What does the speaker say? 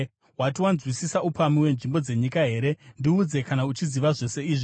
Wati wanzwisisa upamhi hwenzvimbo dzenyika here? Ndiudze kana uchiziva zvose izvi.